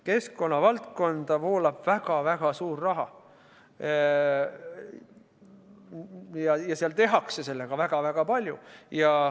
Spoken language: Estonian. Keskkonnavaldkonda voolab väga-väga suur raha ja seal tehakse sellega väga-väga palju.